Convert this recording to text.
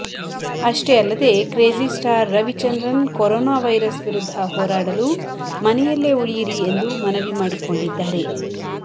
ಅಷ್ಟೇ ಅಲ್ಲದೆ crazy star Ravichandran corona virus ವಿರುದ್ಧ ಹೋರಾಡಲು ಮನೆಯಲ್ಲೇ ಉಳಿಯಿರಿ ಎಂದು ಮನವಿ ಮಾಡಿಕೊಂಡಿದ್ದಾರೆ